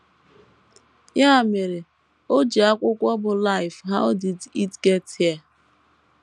Ya mere, o o ji akwụkwọ bụ́ Life How Did It Get Here?